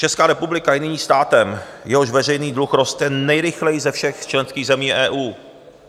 Česká republika je nyní státem, jehož veřejný dluh roste nejrychleji ze všech členských zemí EU.